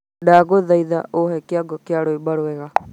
Ndagũthaitha ũhe kĩongo kĩa rwĩmbo rũega